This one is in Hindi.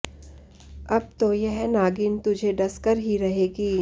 अब तो यह नागिन तुझे डंसकर ही रहेगी